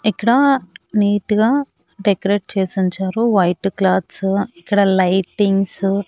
ఇక్కడా నీట్ గా డెకరేట్ చేసుంచారు వైటు క్లాత్సు ఇక్కడ లైటింగ్సు --